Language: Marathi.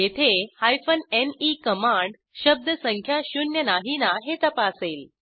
येथे ने कमांड शब्द संख्या शून्य नाही ना हे तपासेल